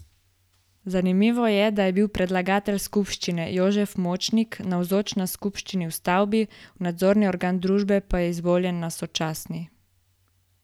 Zanimivo je, da je bil predlagatelj skupščine Jožef Močnik navzoč na skupščini v stavbi, v nadzorni organ družbe pa izvoljen na sočasni.